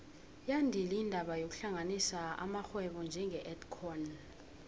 yandile indaba yokuhlanganisa amarhwebo njenge edcon